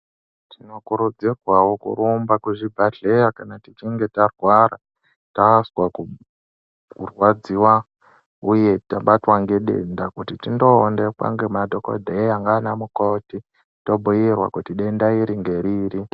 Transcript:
Tinokurudzirwao kurumba kuzvibhedhlera kana tichinge tarwara tazwa kurwadziwa uye tabatwa ngedenda kuti tinoonekwa ngemadhokodheya nanamukoti tobhiirwa kuti denda iri ngeriri.